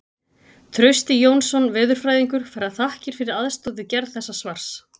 Trausti Jónsson veðurfræðingur fær þakkir fyrir aðstoð við gerð þessa svars.